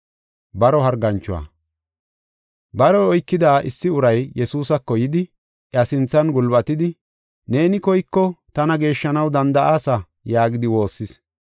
Baroy oykida issi uray Yesuusako yidi, iya sinthan gulbatidi, “Neeni koyko tana geeshshanaw danda7aasa” yaagidi woossis.